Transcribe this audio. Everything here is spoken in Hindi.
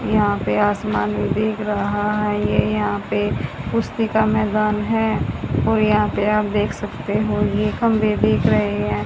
यहां पे आसमान भी दिख रहा है ये यहां पे पुस्तिका मैदान है और यहां पे आप देख सकते हो ये खंभे दिख रहे हैं।